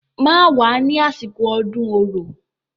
Má wá ní àsìkò ọdún Orò.